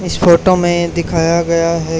इस फोटो में दिखाया गया है।